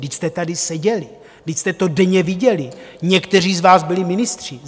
Vždyť jste tady seděli, vždyť jste to denně viděli, někteří z vás byli ministři.